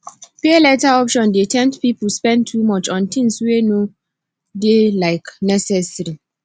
pay later option dey tempt people spend too much on things wey no dey um necessary